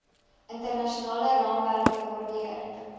internasionale raamwerke waardeur